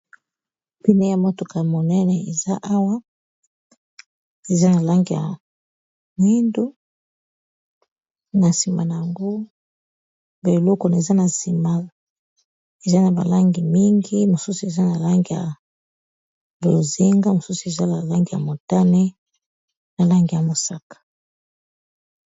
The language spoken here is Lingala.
Npine ya motoka monene eza awa eza na langi ya moindu, na nsima na yango ba eloko na eza na nsima eza na balangi mingi ,mosusu eza na langi ya bozinga mosusu eza la balangi ya montane, na langi ya mosaka.